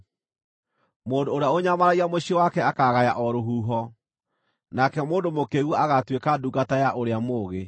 Mũndũ ũrĩa ũnyamaragia mũciĩ wake akaagaya o rũhuho, nake mũndũ mũkĩĩgu agaatuĩka ndungata ya ũrĩa mũũgĩ.